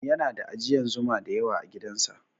Yana da ajiyan Zuma da yawa agidan sa